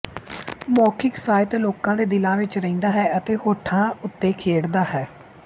ਮੌਖਿਕ ਸਾਹਿਤ ਲੋਕਾਂ ਦੇ ਦਿਲਾਂ ਵਿੱਚ ਰਹਿੰਦਾ ਹੈ ਤੇ ਹੋਠਾਂ ਉਤੇ ਖੇਡਦਾ ਹੈ